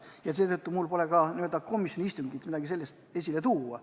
Ja seetõttu mul pole ka komisjoni istungilt mingit vastust tuua.